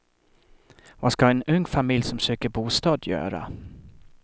Vad ska en ung familj som söker bostad göra?